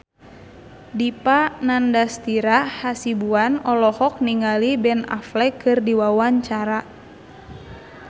Dipa Nandastyra Hasibuan olohok ningali Ben Affleck keur diwawancara